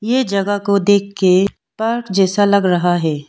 ये जगह को देख के पार्क जैसे लग रहा है।